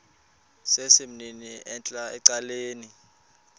sesimnini entla ecaleni